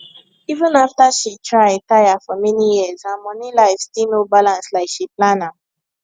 even after she try tire for many years her money life still no balance like she plan am